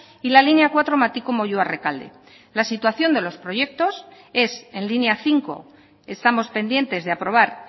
y la línea cuatro matiko moyua rekalde la situación de los proyectos es en línea cinco estamos pendientes de aprobar